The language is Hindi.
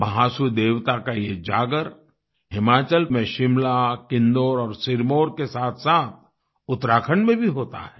महासू देवता का ये जागर हिमाचल में शिमला किन्नौर और सिरमौर के साथसाथ उत्तराखंड में भी होता है